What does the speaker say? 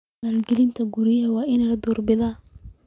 Maalgelinta guriga waa in la door bidaa.